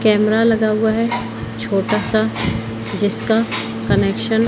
camera लगा हुआ है छोटा सा जिसका कनेक्शन --